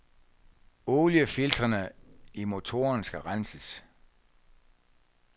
Oliefiltrene i motoren skal renses.